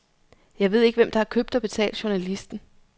Jeg ved ikke, hvem der har købt og betalt journalisten.